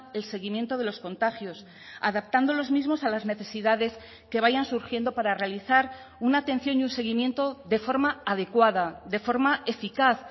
el seguimiento de los contagios adaptando los mismos a las necesidades que vayan surgiendo para realizar una atención y un seguimiento de forma adecuada de forma eficaz